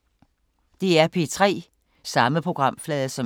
DR P3